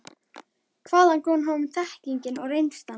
Hvaðan kom honum þekkingin og reynslan?